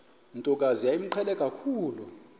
ntokazi yayimqhele kakhulu